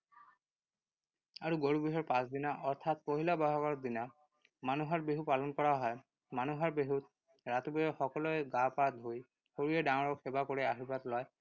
আৰু গৰু বিহুৰ পাছদিনা অৰ্থাৎ পহিলা বহাগৰ দিনা, মানুহৰ বিহু পালন কৰা হয়। মানুহৰ বিহুত ৰাতিপুৱাই সকলোৱে গা পা ধুই সৰুৱে ডাঙৰক সেৱা কৰি আৰ্শীবাদ লয়।